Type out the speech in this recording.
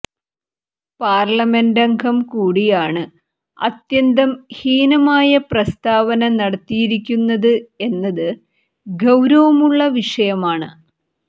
പാര്ലമെന്റംഗം കൂടിയാണ് അത്യന്തം ഹീനമായ പ്രസ്താവന നടത്തിയിരിക്കുന്നത് എന്നത് ഗൌരവമുള്ള വിഷയമാണ്